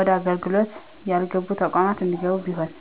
ወደ አገልግሎት ያልገቡ ተቋማት እንዲገቡ ቢሆን።